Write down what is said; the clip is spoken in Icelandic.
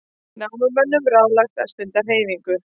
Námumönnum ráðlagt að stunda hreyfingu